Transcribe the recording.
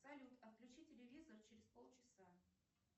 салют отключи телевизор через пол часа